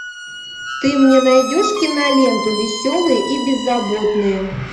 ты мне найдешь киноленту веселые и беззаботные